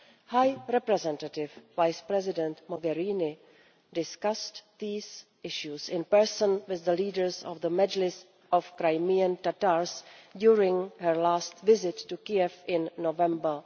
High Representative Vice President Mogherini discussed these issues in person with the leaders of the Mejlis of Crimean Tatars during her last visit to Kiev in November